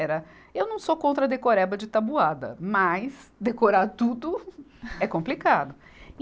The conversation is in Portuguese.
Era, eu não sou contra decoreba de tabuada, mas decorar tudo é complicado.